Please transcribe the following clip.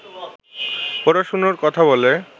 পড়ানোর কথা বলে